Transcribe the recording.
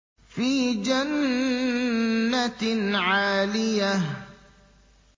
فِي جَنَّةٍ عَالِيَةٍ